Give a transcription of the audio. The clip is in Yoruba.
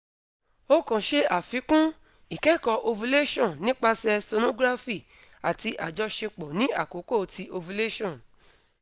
o kan ṣe afikun - ikẹkọ ovulation nipasẹ sonography ati ajọṣepọ ni akoko ti ovulation